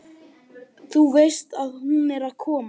Þú veist að hún er að koma.